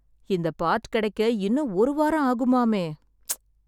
இந்தப் பார்ட் கிடைக்க இன்னும் ஒரு வாரம் ஆகுமாமே. ப்ச்..